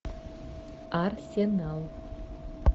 арсенал